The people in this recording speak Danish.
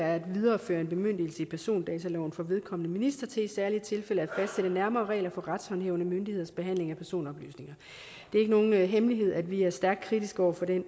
at videreføre en bemyndigelse i persondataloven for vedkommende minister til i særlige tilfælde at fastsætte nærmere regler for retshåndhævende myndigheders behandling af personoplysninger det er ikke nogen hemmelighed at vi er stærkt kritiske over for det